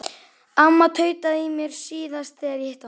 Amma tautaði í mér síðast þegar ég hitti hana.